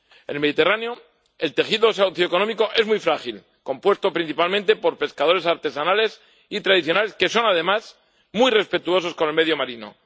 En el Mediterráneo el tejido socioeconómico es muy frágil, compuesto principalmente por pescadores artesanales y tradicionales que son, además, muy respetuosos con el medio marino.